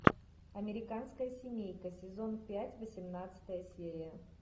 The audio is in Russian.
американская семейка сезон пять восемнадцатая серия